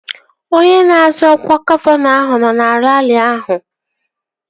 Onye na-azọ ọkwa gọvanọ ahụ nọ na raarị ahụ